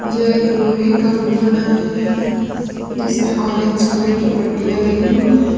यह एक लोहे का पूल बना हुआ है जिसमे ऑरेंज कलर की पट्टियां लगी हुई है।